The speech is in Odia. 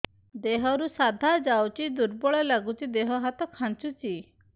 ଦେହରୁ ସାଧା ଯାଉଚି ଦୁର୍ବଳ ଲାଗୁଚି ଦେହ ହାତ ଖାନ୍ଚୁଚି